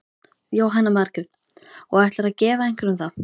Jóhanna Margrét: Og ætlarðu að gefa einhverjum það?